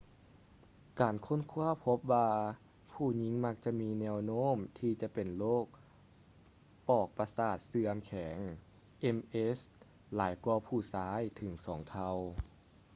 ການຄົ້ນຄ້ວາພົບວ່າ ຜູ້ຍິງມັກຈະມີແນວໂນ້ມທີ່ຈະເປັນໂລກປອກປະສາດເສື່ອມແຂງ ms ຫຼາຍກວ່າຜູ້ຊາຍເຖິງສອງເທົ່າ